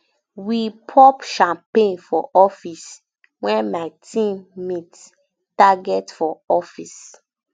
we pop champagne for office um wen my team meet target for office